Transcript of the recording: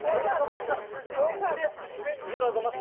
әйел азаматтар сөзбен іспен ер азамат